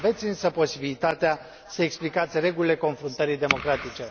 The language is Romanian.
Aveți însă posibilitatea să explicați regulile confruntării democratice.